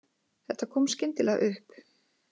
Þetta kom skyndilega upp